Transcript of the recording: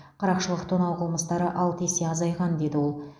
қарақшылық тонау қылмыстары алты есе азайған деді ол